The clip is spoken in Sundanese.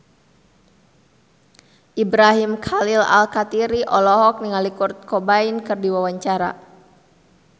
Ibrahim Khalil Alkatiri olohok ningali Kurt Cobain keur diwawancara